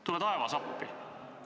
Tule taevas appi!